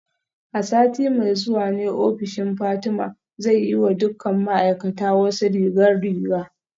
A sati mai zuwa ne ofishin Fatima zai yi wa dukkan ma'aikata wasu rigar riga